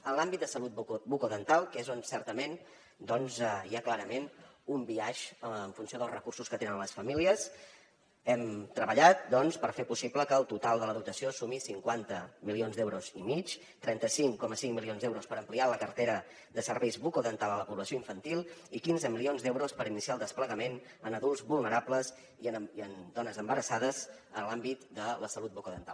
en l’àmbit de salut bucodental que és on certament hi ha clarament un biaix en funció dels recursos que tenen les famílies hem treballat per fer possible que el total de la dotació sumi cinquanta milions d’euros i mig trenta cinc coma cinc milions d’euros per ampliar la cartera de serveis bucodentals a la població infantil i quinze milions d’euros per iniciar el desplegament en adults vulnerables i en dones embarassades en l’àmbit de la salut bucodental